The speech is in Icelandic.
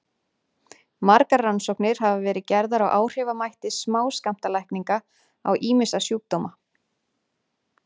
Margar rannsóknir hafa verið gerðar á áhrifamætti smáskammtalækninga á ýmsa sjúkdóma.